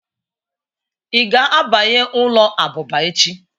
Ị ga-abanye ụlọ abụba echi